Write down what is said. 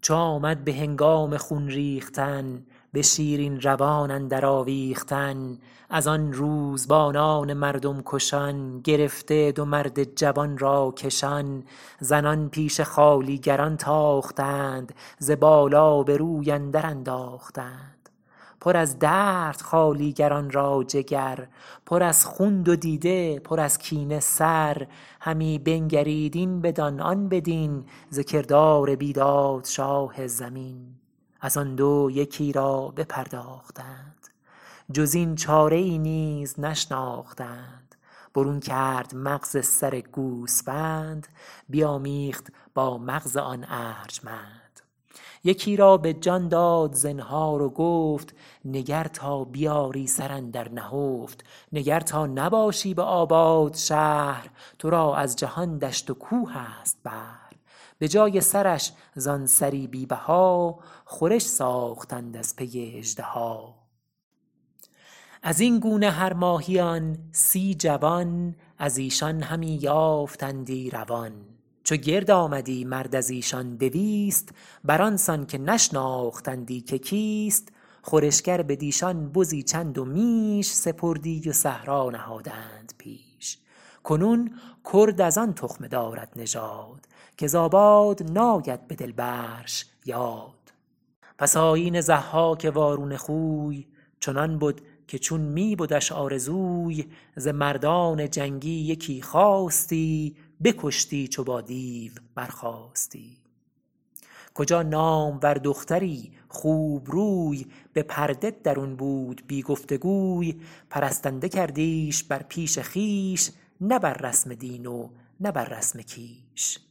چو آمد به هنگام خون ریختن به شیرین روان اندر آویختن از آن روزبانان مردم کشان گرفته دو مرد جوان را کشان زنان پیش خوالیگران تاختند ز بالا به روی اندر انداختند پر از درد خوالیگران را جگر پر از خون دو دیده پر از کینه سر همی بنگرید این بدان آن بدین ز کردار بیداد شاه زمین از آن دو یکی را بپرداختند جز این چاره ای نیز نشناختند برون کرد مغز سر گوسفند بیامیخت با مغز آن ارجمند یکی را به جان داد زنهار و گفت نگر تا بیاری سر اندر نهفت نگر تا نباشی به آباد شهر تو را از جهان دشت و کوه است بهر به جای سرش زان سری بی بها خورش ساختند از پی اژدها از این گونه هر ماهیان سی جوان از ایشان همی یافتندی روان چو گرد آمدی مرد از ایشان دویست بر آن سان که نشناختندی که کیست خورشگر بدیشان بزی چند و میش سپردی و صحرا نهادند پیش کنون کرد از آن تخمه دارد نژاد که ز آباد ناید به دل برش یاد پس آیین ضحاک وارونه خوی چنان بد که چون می بدش آرزوی ز مردان جنگی یکی خواستی بکشتی چو با دیو برخاستی کجا نامور دختری خوبروی به پرده درون بود بی گفت گوی پرستنده کردیش بر پیش خویش نه بر رسم دین و نه بر رسم کیش